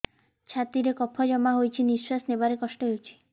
ଛାତିରେ କଫ ଜମା ହୋଇଛି ନିଶ୍ୱାସ ନେବାରେ କଷ୍ଟ ହେଉଛି